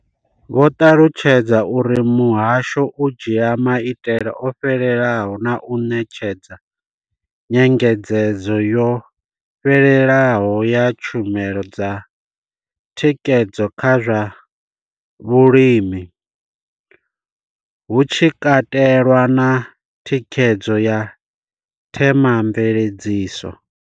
Vho ṱalutshedza uri muhasho u dzhia maitele o fhelelaho na u ṋetshedza nyengedzedzo yo fhelelaho ya tshumelo dza thikhedzo kha zwa vhulimi, hu tshi katelwa na thikhedzo ya themamveledziso.